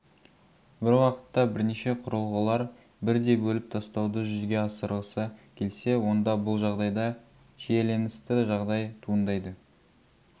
бір уақытта бірнеше құрылғылар бірдей бөліп тастауды жүзеге асырғысы келсе онда бұл жағдайда шиеленісті жағдай туындайды